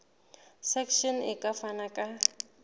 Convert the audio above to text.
section e ka fana ka